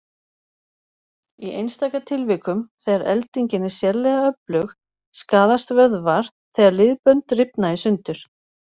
Í einstaka tilvikum, þegar eldingin er sérlega öflug, skaðast vöðvar þegar liðbönd rifna í sundur.